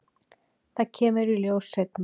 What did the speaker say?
Það kemur í ljós seinna.